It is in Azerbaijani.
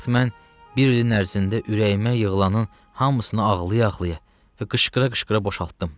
Bu vaxt mən bir ilin ərzində ürəyimə yığılanın hamısını ağlaya-ağlaya və qışqıra-qışqıra boşaltdım.